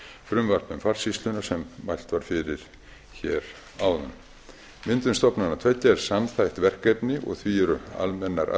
frumvarp um farsýsluna sem mælt var fyrir áðan myndun stofnananna tveggja er samþætt verkefni og því eru almennar